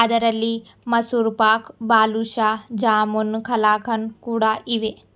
ಅದರಲ್ಲಿ ಮಸೂರ್ ಪಾಕ್ ಬಾದುಶಾ ಜಾಮುನ್ ಕಲಾಕನ್ ಕೂಡ ಇವೆ.